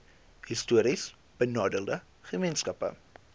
histories benadeelde gemeenskappe